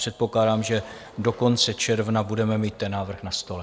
Předpokládám, že do konce června budeme mít ten návrh na stole.